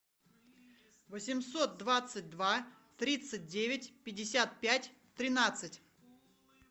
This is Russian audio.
восемьсот двадцать два тридцать девять пятьдесят пять тринадцать